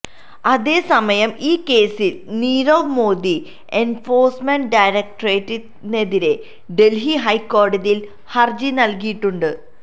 അതേസമയം ഈ കേസില് നീരവ് മോദി എന്ഫോഴ്സ്മെന്റ് ഡയറക്ടറേറ്റിനെതിരെ ഡല്ഹി ഹൈക്കോടതിയില് ഹര്ജി നല്കിയിട്ടുണ്ട്